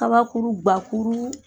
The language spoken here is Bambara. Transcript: Kabakuru gakuru.